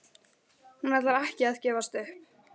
Hún ætlar ekki að gefast upp!